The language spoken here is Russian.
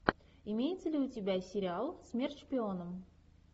имеется ли у тебя сериал смерть шпионам